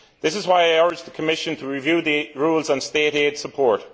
That is why I urge the Commission to review the rules on State aid support.